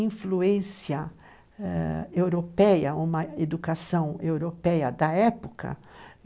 influência europeia eh, uma educação europeia da época.